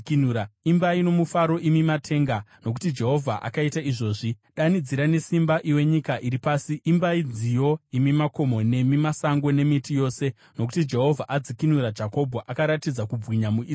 Imbai nomufaro imi matenga, nokuti Jehovha akaita izvozvi; danidzira nesimba, iwe nyika iri pasi. Imbai nziyo, imi makomo, nemi masango nemiti yose, nokuti Jehovha adzikinura Jakobho, akaratidza kubwinya muIsraeri.